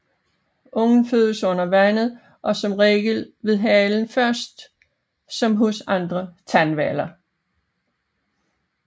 Ungen fødes under vandet og som regel med halen først som hos andre tandhvaler